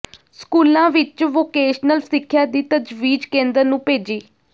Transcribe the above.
ਸਕੂਲਾਂ ਵਿੱਚ ਵੋਕੇਸ਼ਨਲ ਸਿੱਖਿਆ ਦੀ ਤਜਵੀਜ਼ ਕੇਂਦਰ ਨੂੰ ਭੇਜੀ